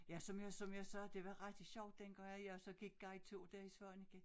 Ja som jeg som jeg sagde det var rigtig sjovt dengang at jeg så gik guideture dér i Svaneke